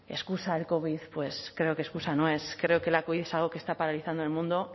excusa del covid pues creo que excusa no es creo que la covid es algo que está paralizando el mundo